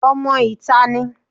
Ọmọ ìta ní